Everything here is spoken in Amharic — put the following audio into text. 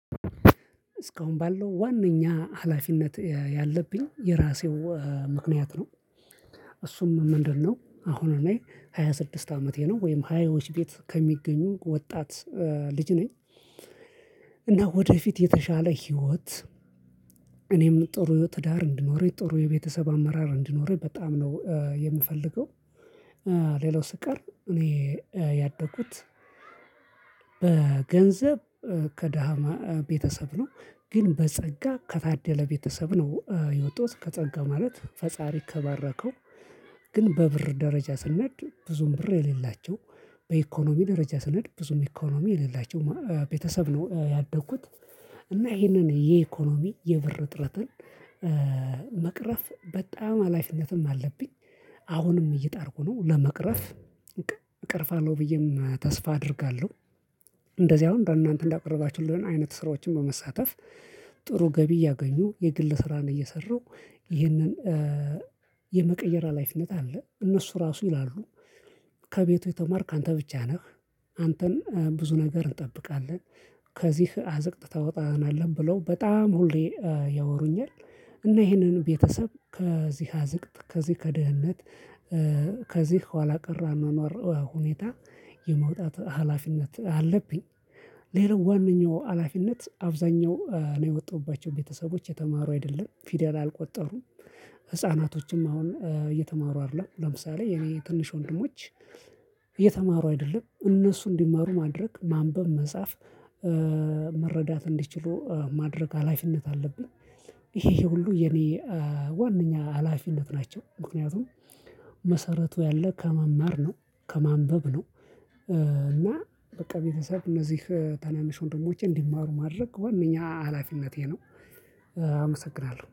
እስካሁን ባለው ዋናኛ ሀላፊነት ያለብኝ የራሴው ምክንያት ነው። እሱም ምንድነው? አሁን ላይ ሃያ ስድስት አመቴ ነው ወይም ሃያዎች ቤት ከሚገኙ ወጣት ልጅ ነኝ። እና ወደፊት የተሻለ ህይወት እኔም ጥሩ ትዳር እንዲኖር ጥሩ የቤተሰብ አመራር እንዲኖር በጣም ነው የምፈልገው። ሌላው ሲቀር እኔ ያደጉት በገንዘብ ከደሃ ቤተሰብ ነው ግን በጸጋ ከታደለ ቤተሰብ ነው የወጣውት ከጸጋ ማለት ፈጣሪ ከባረከው። ግን በብር ደረጃ ስነድ ብዙም ብር የሌላቸው በኢኮኖሚ ደረጃ ስንነድ ብዙም ኢኮኖሚ የሌላቸው ቤተሰብ ነው ያደግኩት። እና ይሄንን የኢኮኖሚ የብር እጥረትን በጣም ሃላፊነትም አለብኝ። አሁንም እየጣርኩ ነው ለመቅረፍ። ብዬም ተስፋ አደርጋለሁ። እንደዚህ አሁን እንደው እናንተ እንዳቀረባችሁልን አይነት ስራዎችን በመሳተፍ ጥሩ ገቢ እያገኙ የግል ስራን እየሰራሁ ይህንን የመቀየሪያ ሀላፊነት አለ እነሱ ራሱ ይላሉ። ከቤቱ የተማርክ አንተ ብቻ ነህ። አንተን ብዙ ነገር እንጠብቃለን። ከዚህ አዝቅጥ ታወጣናለን ብለው በጣም ሁሌ ያወሩኛል። እና ይሄንን ቤተሰብ ከዚህ አዝቅት ከዚህ ከድህነት ከዚህ ኋላ ቀር አኗኗር ሁኔታ የማውጣት ሀላፊነት አለብኝ። ሌላው ዋናው ሀላፊነት አብዛኛው ነው የወጡባቸው ቤተሰቦች የተማሩ አይደሉም ፊደል አልቆጠሩም። ህፃናቶችም አሁን እየተማሩ አይደሉም አይደለም ለምሳሌ የኔ ትንሽ ወንድሞች። እየተማሩ አይደለም እነሱ እንዲማሩ ማድረግ ማንበብ መጻፍ መረዳት እንዲችሉ ማድረግ ሀላፊነት አለብኝ። ይሄ ይሄ ሁሉ የኔ ዋነኛ ሀላፊነት ናቸው። ምክንያቱም መሰረቱ ያለ ከመማር ነው ከማንበብ ነው። እና በቃ ቤተሰብ እነዚህ ታናናሾች ደግሞ እንዲማሩ ማድረግ ዋናኛ ሀላፊነቴ ነው። አመሰግናለሁ